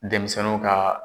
Denmisɛninw ka